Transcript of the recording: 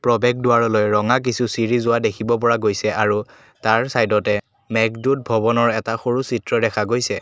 প্ৰৱেশদুৱাৰলৈ ৰঙা কিছু চিৰি যোৱা দেখিব পৰা গৈছে আৰু তাৰ চাইডতে মেঘদুত ভৱনৰ এটা সৰু চিত্ৰ দেখা গৈছে।